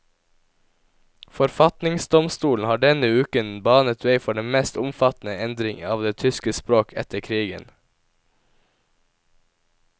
Forfatningsdomstolen har denne uken banet vei for den mest omfattende endring av det tyske språk etter krigen.